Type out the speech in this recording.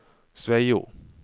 Sveio